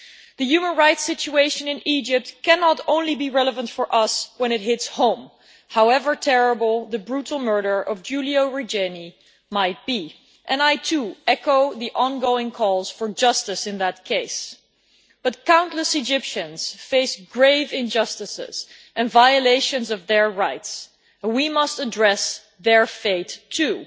The human rights situation in Egypt cannot only be relevant for us when it hits home, however terrible the brutal murder of Giulio Regeni might be, and I too echo the ongoing calls for justice in that case. But countless Egyptians face grave injustices and violations of their rights, and we must address their fate too.